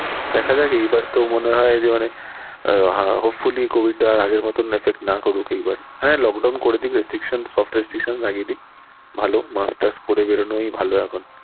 দেখা যাক এইবার তো মনে হয় মানে আহ hopefully মানে covid আগের মতন affect না করুক এবার হ্যাঁ lockdown করে দিক soft restriction লাগিয়ে দিক ভালো, mask task পরে বেরোনোই ভালো এখন।